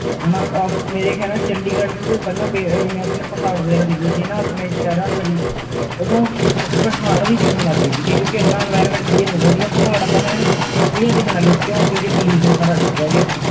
ਨਾ ਚੰਡੀਗ੍ਹੜ ਚ ਪਹਾੜ ਵਗੈਰਾ ਦੇਖਦੇ ਦੇ ਸੀ ਨਾ ਅਪਣੇ ਸ਼ਹਿਰਾਂ ਤੋਂ ਵੀ ਓਦੋਂ ਪਹਾੜ ਵੀ ਦਿਖਣ ਲਗ ਗਏ ਸੀਗੇ ਕਿਓਂਕਿ ਇੰਨਾ environment clear ਹੋ ਗਯਾ ਸੀ ਪਹਾੜ ਆਪਾਂ ਨੂੰ ਐਨ clear ਦਿਖਣ ਲਗ ਗਏ ਸੀ ਕਿਉ ਕਿਉਂਕਿ pollution ਸਾਰਾ ਚੱਕਿਆ ਗਿਆ